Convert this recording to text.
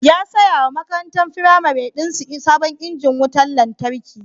Ya saya wa makarantan firamare ɗin su sabon injin wutar lantarki.